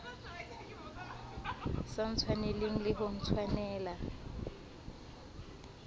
sa ntshwaneleng le ho ntshwanela